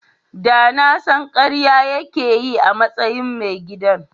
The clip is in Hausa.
Da na san karya yake yi a matsayin mai gidan.